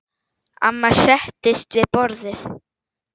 Amma settist við borðið.